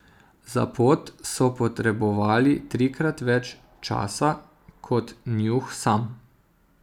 Za pot so potrebovali trikrat več časa kot Njuh sam.